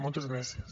moltes gràcies